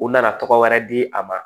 U nana tɔgɔ wɛrɛ di a ma